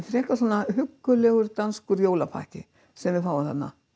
frekar svona huggulegur danskur jólapakki sem við fáum þarna